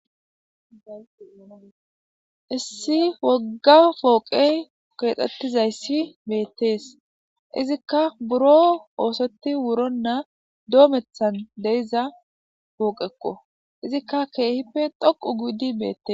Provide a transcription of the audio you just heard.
issi wogga pooqey keexxettizayssi beettees izikka buro oosoti wuronna doomethan deiza pooqekko izikka keehippe dhoqu gudi beette